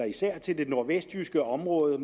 især til det nordvestjyske område